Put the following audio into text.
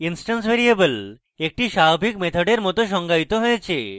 instance variable একটিস্বাভাবিক মেথডের মত সংজ্ঞায়িত হয়েছে